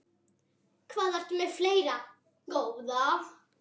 Hvað ertu með fleira, góða?